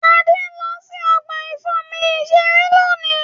Adé ń lọ sí ọgbà ìfomi-iṣeré lónìí.